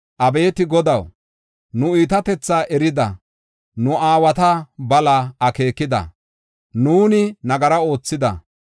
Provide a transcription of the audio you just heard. Abeeti Godaw, nu iitatethaa erida; nu aawata balaa akeekida; nuuni nagara oothida.